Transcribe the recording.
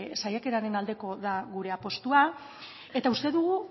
saiakeraren aldekoa da gure apustua eta uste dugu